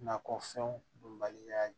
Nakɔfɛnw bɔnbaliya